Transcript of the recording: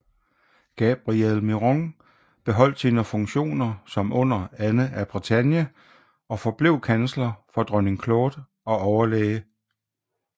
Gabriel Miron beholdt sine funktioner som under Anne af Bretagne og forblev kansler for dronning Claude og overlæge